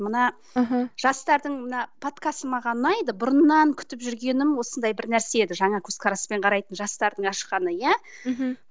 мына мхм жастардың мына подкасты маған ұнайды бұрыннан күтіп жүргенім осындай бір нәрсе еді жаңа көзқараспен қарайтын жастардың ашқаны иә мхм